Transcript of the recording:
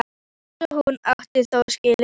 Eins og hún átti þó skilið.